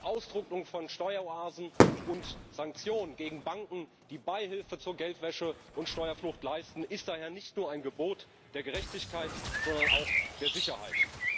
Die Austrocknung von Steueroasen und Sanktionen gegen Banken, die Beihilfe zur Geldwäsche und Steuerflucht leisten, ist daher nicht nur ein Gebot der Gerechtigkeit, sondern auch der Sicherheit.